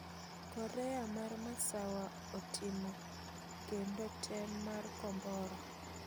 Korea mar masawa atimo kendo tem mar kombora